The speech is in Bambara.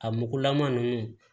A mugulama ninnu